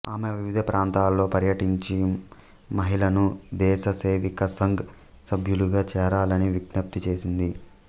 ఆమె వివిధ ప్రాంతాలలో పర్యటించిం మహిళలను దేశ సేవికా సంఘ్ సభ్యులుగా చేరాలని విజ్ఞప్తి చేసింది